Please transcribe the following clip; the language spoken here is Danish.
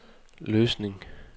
Løsning